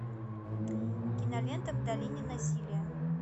кинолента в долине насилия